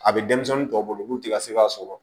A bɛ denmisɛnnin tɔw bolo n'u tɛ ka se k'a sɔrɔ